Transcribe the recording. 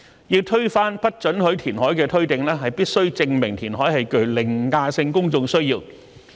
要推翻不准許填海的推定，必須證明填海是具凌駕性公眾需要。